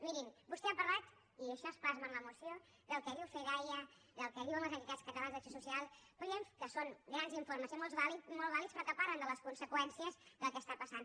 miri vostè ha parlat i això es plasma en la moció del que diu fedaia del que diuen les entitats catalanes d’acció social que són grans informes i molt vàlids però que parlen de les conseqüències del que està passant